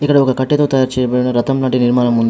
ఇక్కడ ఒక కట్టెతో తయారు చేయబడిన రథం వంటి నిర్మాణం ఉంది.